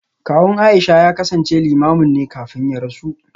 Kawun Aisha ya kasance Limamin ne kafin ya rasu